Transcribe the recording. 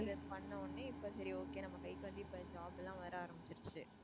அது பண்ண உடனே இப்ப சரி okay நம்ம கைக்கு வந்து இப்ப job எல்லாம் வர ஆரம்பிருச்சு.